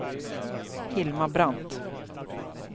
Hilma Brandt